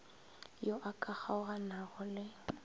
yo a ka kgaoganago le